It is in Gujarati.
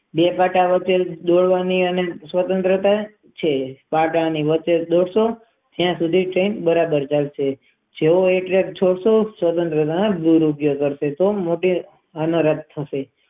બે કાંટા વચ્ચે ની સ્વતંત્ર છે સક ની જ્યાં સુધી બરાબર ચાલતી હોય દૂર